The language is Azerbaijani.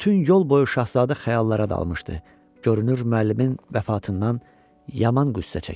Bütün yol boyu şahzadə xəyallara dalmışdı, görünür müəllimin vəfatından yaman qüssə çəkirdi.